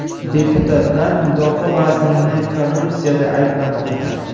Deputatlar mudofaa vazirini korrupsiyada ayblamoqda.